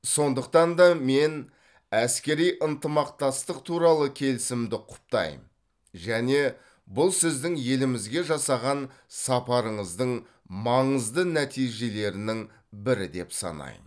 сондықтан да мен әскери ынтымақтастық туралы келісімді құптаймын және бұл сіздің елімізге жасаған сапарыңыздың маңызды нәтижелерінің бірі деп санаймын